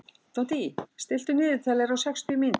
Doddý, stilltu niðurteljara á sextíu mínútur.